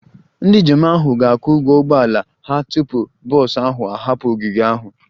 Ndị njem ahụ ga-akwụ ụgwọ ụgbọ ala ha tupu bọs ahụ ahapụ ogige ahụ